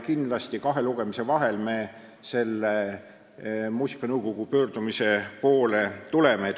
Kindlasti me kahe lugemise vahel muusikanõukogu pöördumist arutame.